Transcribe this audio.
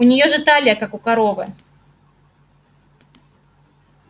у нее же талия как у коровы